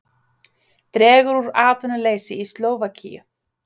Dregur úr atvinnuleysi í Slóvakíu